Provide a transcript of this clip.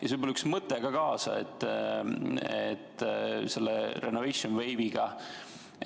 Ja annan ühs mõtte teile kaasa selle renovation wave'iga.